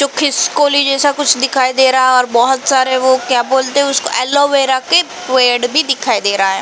तो खिस्कोली जेसा कुछ दिखाई दे रहा हे और बहोत सारे वो क्या बोलते हे उसको एलोवेरा के पेड़ भी दिखाई दे रहा हे।